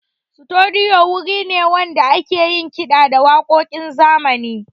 Studiyo wuri ne wanda ake yin kiɗa da waƙoƙin zamani.